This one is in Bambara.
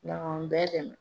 Ala k'an bɛɛ dɛmɛ.